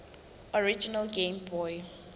original game boy